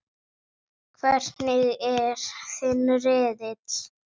Hvernig er þinn riðill?